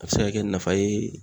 A be se ka kɛ nafa ye